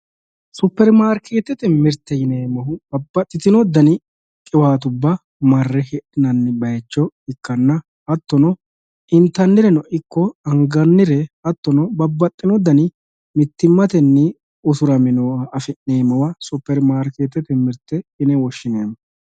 superimarkeetete mirte yinannihu babbaxitino dani qiwaattubba marre hidhinanni bayicho ikkanna hattono intanireno ikko angannire hatto babbaxino dani mittimatenni usurame nooha superimarketete mirte yine woshshineemmo.